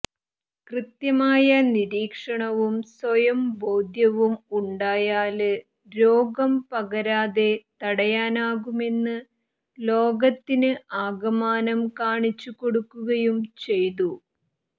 കൃത്യമായ നിരീക്ഷണവും സ്വയം ബോധ്യവും ഉണ്ടായാല് രോഗം പകരാതെ തടയാനാകുമെന്ന് ലോകത്തിന് ആകമാനം കാണിച്ച് കൊടുക്കുകയും ചെയ്തു